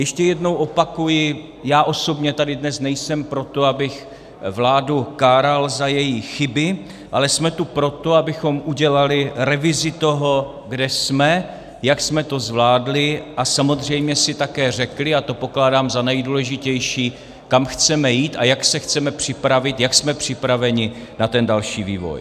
Ještě jednou opakuji, já osobně tady dnes nejsem proto, abych vládu káral za její chyby, ale jsme tu proto, abychom udělali revizi toho, kde jsme, jak jsme to zvládli a samozřejmě si také řekli, a to pokládám za nejdůležitější, kam chceme jít a jak se chceme připravit, jak jsme připraveni na ten další vývoj.